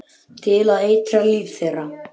Til að eitra líf þeirra.